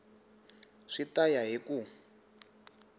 swi ta ya hi ku